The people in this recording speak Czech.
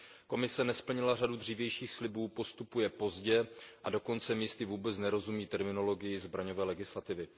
Komise nesplnila řadu dřívějších slibů, postupuje pozdě a dokonce místy vůbec nerozumí terminologii zbraňové legislativy.